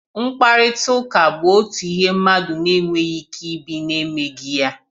Mkparịriịtaụka bụ otu ihe mmadụ na-enweghi ike ibi na-emeghi ya.